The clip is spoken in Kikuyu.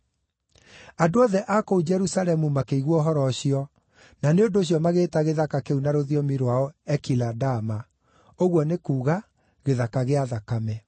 Andũ othe a kũu Jerusalemu makĩigua ũhoro ũcio, na nĩ ũndũ ũcio magĩĩta gĩthaka kĩu na rũthiomi rwao Ekiladama, ũguo nĩ kuuga, Gĩthaka kĩa Thakame.)